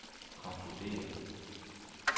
konkluderer